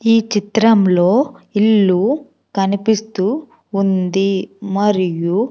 ఈ చిత్రంలో ఇల్లు కనిపిస్తూ ఉంది మరియు.